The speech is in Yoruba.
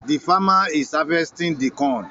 The farmer is harvesting the corn.